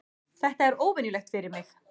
Þetta er óvenjulegt fyrir mig.